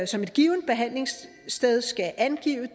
som et givent behandlingssted skal angive